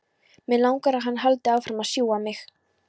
Mig langar að hann haldi áfram að sjúga mig.